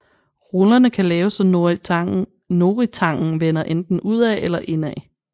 Rullerne kan laves så noritangen vender enten udad eller indad